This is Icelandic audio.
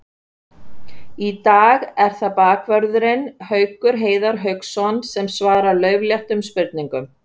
Í dag er það bakvörðurinn Haukur Heiðar Hauksson sem svarar laufléttum spurningum.